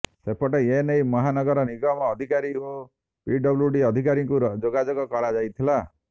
ସେପଟେ ଏନେଇ ମହାନଗର ନିଗମ ଅଧିକାରୀ ଓ ପି ଡବ୍ଲୁଡି ଅଧିକାରୀଙ୍କୁ ଯୋଗାଯୋଗ କରାଯାଇଥିଲା